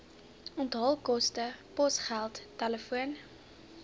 onthaalkoste posgeld telefoon